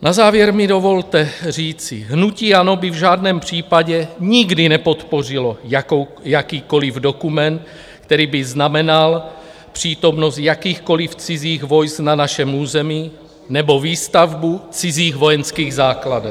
Na závěr mi dovolte říci, hnutí ANO by v žádném případě nikdy nepodpořilo jakýkoliv dokument, který by znamenal přítomnost jakýchkoliv cizích vojsk na našem území nebo výstavbu cizích vojenských základen.